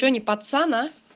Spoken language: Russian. что не пацан а